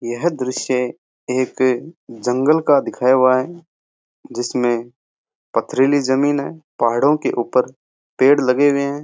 यह दृश्य एक जंगल का दिखाया हुआ है जिसमें पथरीली जमीन है पहाड़ों के ऊपर पेड़ लगे हुए हैं।